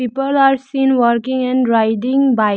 People are seen working and riding bike.